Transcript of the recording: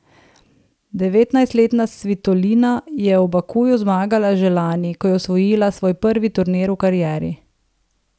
Devetnajstletna Svitolina je v Bakuju zmagala že lani, ko je osvojila svoj prvi turnir v karieri.